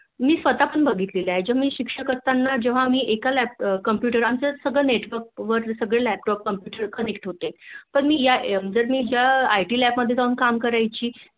, स्वत पण बघितलेले आहे मी शिक्षक असताना जेव्हा आम्ही एक लै Computer आमचं सगळं Network वर सर्व Laptop computer connect होते मी जेव्हा ITlab जाऊन काम करायची